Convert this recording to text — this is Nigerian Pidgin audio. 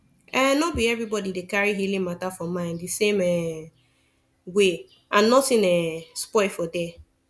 ehnno be everybody dey carry healing matter for mind the same um way and nothing um spoil for there